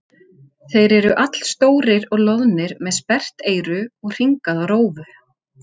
Þeir eru allstórir og loðnir með sperrt eyru og hringaða rófu.